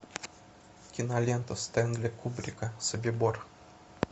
кинолента стенли кубрика собибор